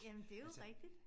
Jamen det jo rigtigt